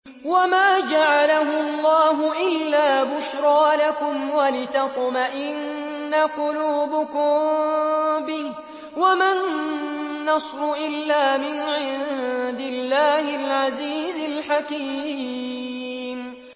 وَمَا جَعَلَهُ اللَّهُ إِلَّا بُشْرَىٰ لَكُمْ وَلِتَطْمَئِنَّ قُلُوبُكُم بِهِ ۗ وَمَا النَّصْرُ إِلَّا مِنْ عِندِ اللَّهِ الْعَزِيزِ الْحَكِيمِ